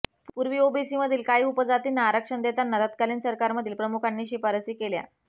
पूर्वी ओबीसीमधील काही उपजातींना आरक्षण देताना तत्कालीन सरकारमधील प्रमुखांनी शिफारशी केल्या